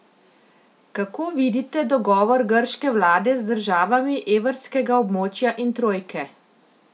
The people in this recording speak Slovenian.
Kako vidite dogovor grške vlade z državami evrskega območja in trojke?